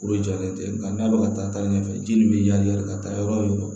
O de jɔlen tɛ nka n'a bɛ ka taa taa ɲɛfɛ ji nin bɛ kari ka taa yɔrɔ wo yɔrɔ